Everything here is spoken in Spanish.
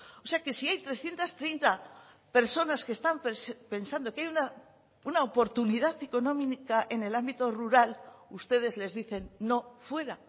o sea que si hay trescientos treinta personas que están pensando que hay una oportunidad económica en el ámbito rural ustedes les dicen no fuera